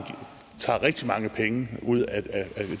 tager rigtig mange penge ud af de